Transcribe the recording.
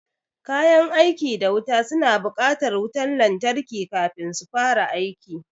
Kayan aiki da wuta suna buƙatar wutan lantarki kafin su fara aiki